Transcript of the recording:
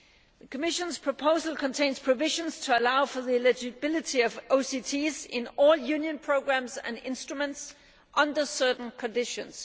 The Commission's proposal contains provisions to allow for the eligibility of OCTs in all Union programmes and instruments under certain conditions.